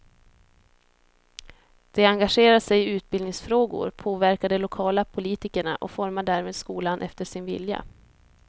De engagerar sig i utbildningsfrågor, påverkar de lokala politikerna och formar därmed skolan efter sin vilja.